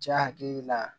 Ja hakili la